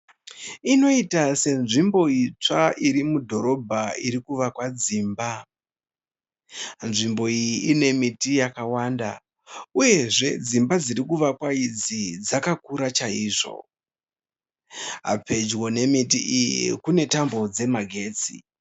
Inoita senzvimbo itsva iri mudhorobha iri kuvakwa dzimba. Nzvimbo iyi ine miti yakawanda uyezve dzimba dziri kuvakwa idzi dzakakura chaizvo. Pedyo nemiti iyi kune tambo dzemagetsi.